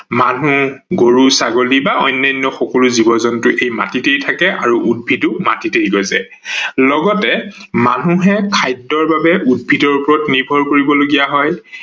মানুহ, গৰু-ছাগলী বা অন্যান্য জীৱ-জন্তু এই মাটিতেই থাকে আৰু উদ্ভিদো মাটিতেই গজে লগতে মানুহে খাদ্যৰ বাবে উদ্ভিদৰ ওপৰত নিৰ্ভৰ কৰিব লগিয়া হয়